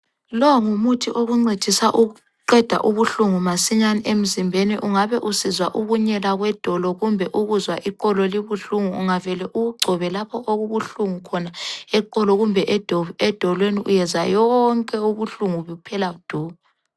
Lo ngumuthi okuncedisa ukuqeda ubuhlungu masinyane emzimbeni, ungabe usizwa ukunyela kwedolo kumbe ukuzwa iqolo libuhlungu, ungavele uwugcobe lapho okubuhlungu khona eqolo kumbe edolweni uyezwa yonke ubuhlungu buphela du!